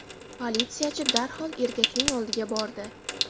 Politsiyachi darhol erkakning oldiga bordi.